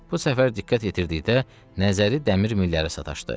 Bu səfər diqqət yetirdikdə nəzəri dəmir millərə sataşdı.